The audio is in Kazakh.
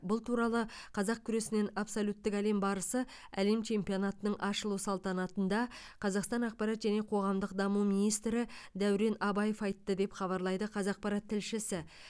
бұл туралы қазақ күресінен абсолюттік әлем барысы әлем чемпионатының ашылу салтанатында қазақстан ақпарат және қоғамдық даму министрі дәурен абаев айтты деп хабарлайды қазақпарат тілшісі